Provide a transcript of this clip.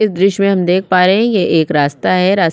इस दृश्य मे हम देख पा रहे हैं यह एक रास्ता है रास्ता --